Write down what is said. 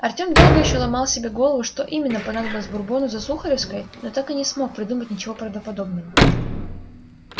артем долго ещё ломал себе голову что именно понадобилось бурбону за сухаревской но так и не смог придумать ничего правдоподобного